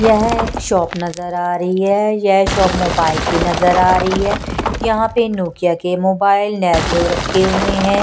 यह एक शॉप नजर आ रही है यह शॉप मोबाइल की नजर आ रही है यहां पे नोकिआ के मोबाइल रखे हुए हैं।